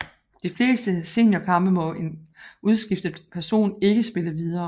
I de fleste seniorkampe må en udskiftet person ikke spille videre